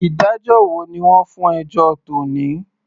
Ìdájọ́ wo ni wọ́n fún ẹjọ́ tòní.